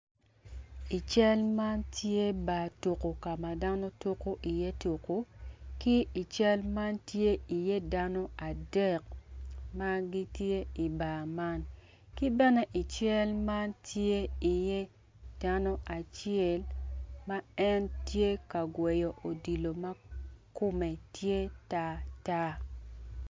I cal man tye bar tuko kama dano tuko i ye tuko ki ical man tye i ye dano adek magitye i bar man ki bene i cal man tye i ye dano acel ma en tye ka gweyo odilo ma kome tye tar tar.